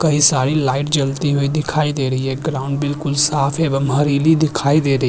कई सारी लाइट जलती हुई दिखाई दे रही है ग्राउंड बिलकुल साफ एवं हरीली दिखाई दे रही --